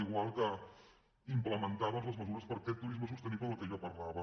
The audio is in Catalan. igual que implementar doncs les mesures per a aquest turisme sostenible de què jo parlava